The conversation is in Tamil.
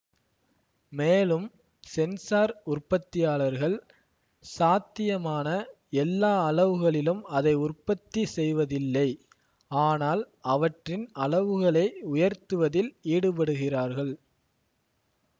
மேலும் சென்சார் உற்பத்தியாளர்கள் சாத்தியமான எல்லா அளவுகளிலும் அதை உற்பத்தி செய்வதில்லை ஆனால் அவற்றின் அளவுகளை உயர்த்துவதில் ஈடுபடுகிறார்கள்